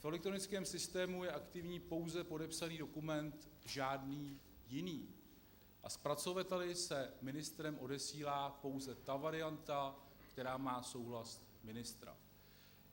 V elektronickém systému je aktivní pouze podepsaný dokument, žádný jiný, a zpracovateli se ministrem odesílá pouze ta varianta, která má souhlas ministra.